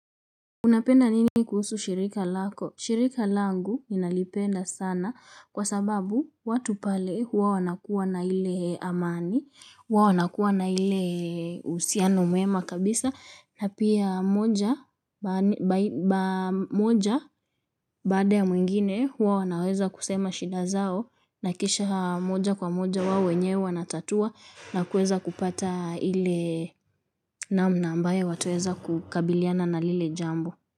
Unapenda nini kuhusu shirika lako? Shirika langu nalipenda sana kwa sababu watu pale huwa wanakuwa na ile amani, huwa wanakuwa na ile uhusiano mwema kabisa, na pia moja baada ya mwingine huwa wanaweza kusema shida zao, na kisha moja kwa moja wao wenye wanatatua, na kuweza kupata ile namna ambayo wataweza kukabiliana na lile jambo.